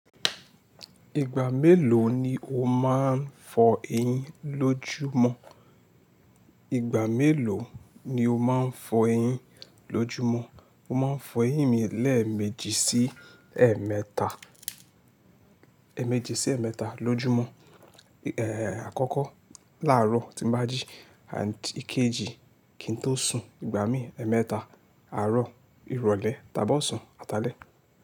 Ìgbà mélòó ni o máa ń fọ eyín lójúmọ́? Ìgbà mélòó ni o máa ń fọ eyín lójúmọ́? Mo máa ń fọ eyín mi lẹ́ẹ̀méjì sí ẹ́ẹ̀mẹ́ta, ẹ̀ẹ́méjì sí ẹ̀ẹ́mẹ́ta lójúmọ́, èè àkọ́kọ́ láàárọ̀ tí màá jí, ànd ìkejì kí n tó sùn, ìgbà míì ẹ́ẹ̀mẹ́ta, àárọ̀, irọ̀lẹ́, tàbí ọ̀sán, atalẹ̀